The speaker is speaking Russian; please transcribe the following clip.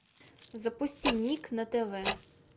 запусти ник на тв